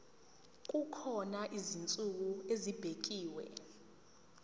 kukhona izinsuku ezibekiwe